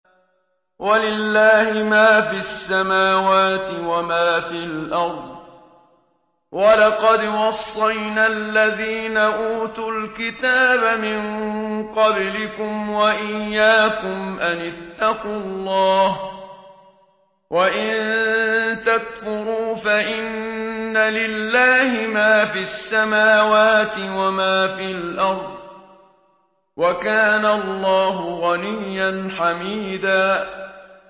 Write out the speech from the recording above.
وَلِلَّهِ مَا فِي السَّمَاوَاتِ وَمَا فِي الْأَرْضِ ۗ وَلَقَدْ وَصَّيْنَا الَّذِينَ أُوتُوا الْكِتَابَ مِن قَبْلِكُمْ وَإِيَّاكُمْ أَنِ اتَّقُوا اللَّهَ ۚ وَإِن تَكْفُرُوا فَإِنَّ لِلَّهِ مَا فِي السَّمَاوَاتِ وَمَا فِي الْأَرْضِ ۚ وَكَانَ اللَّهُ غَنِيًّا حَمِيدًا